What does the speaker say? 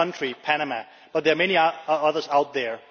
one country, Panama but there are many others out there.